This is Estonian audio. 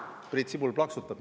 Priit Sibul plaksutab.